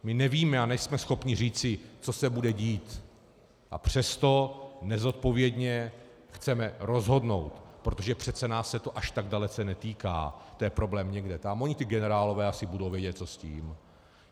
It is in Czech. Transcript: My nevíme a nejsme schopni říci, co se bude dít, a přesto nezodpovědně chceme rozhodnout, protože přece nás se to až tak dalece netýká, to je problém někde tam - oni ti generálové asi budou vědět, co s tím.